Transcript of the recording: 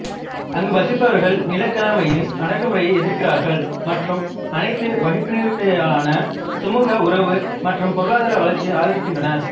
அங்கு வசிப்பவர்கள் நிலக்கிழமையின் அடக்குமுறையை எதிர்க்கிறார்கள் மற்றும் அனைத்து வகுப்பினருக்குமிடையிலான சுமூக உறவு மற்றும் பொருளாதார வளர்ச்சியை ஆதரிக்கின்றனர்